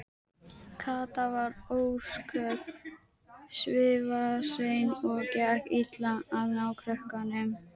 Kata var ósköp svifasein og gekk illa að ná krökkunum.